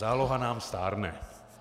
Záloha nám stárne.